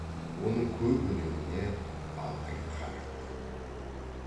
оның көп өлеңіне абай қанық